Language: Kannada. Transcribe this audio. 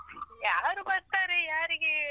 ಯಾರು ಬರ್ತಾರೆ ಯಾರಿಗೆ.